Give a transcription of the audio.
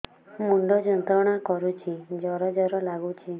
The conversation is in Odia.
ମୁଣ୍ଡ ଯନ୍ତ୍ରଣା କରୁଛି ଜର ଜର ଲାଗୁଛି